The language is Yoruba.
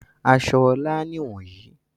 Aṣọ Ọlá nìwọ̀nyí.